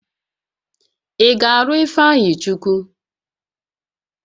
Ị ga-alụ Ifeanyịchukwu?